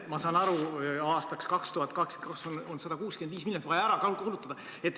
Ma saan aru, et 165 miljonit on vaja ära kulutada.